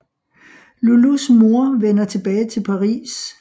Loulous mor vender tilbage til Paris